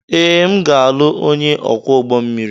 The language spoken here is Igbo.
Ee, m ga-alụ onye ọkwọ ụgbọ mmiri.